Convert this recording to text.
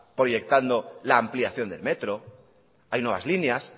proyectando la ampliación del metro hay nuevas líneas